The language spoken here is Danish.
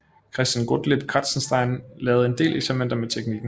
Christian Gottlieb Kratzenstein lavede en del eksperimenter med teknikken